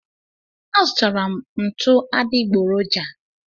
A zụtara m ntụ adịgboroja